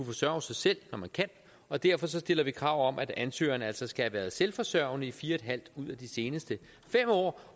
forsørge sig selv når man kan og derfor stiller vi krav om at ansøgeren altså skal have været selvforsørgende i fire en halv år ud af de seneste fem år